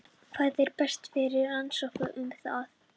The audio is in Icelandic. Hvar er best að finna rannsóknir um það?